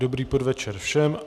Dobrý podvečer všem.